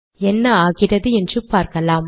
என்ன ஆகிறது என்று பார்க்கலாம்